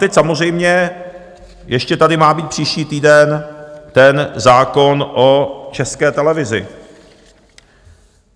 Teď samozřejmě ještě tady má být příští týden ten zákon o České televizi.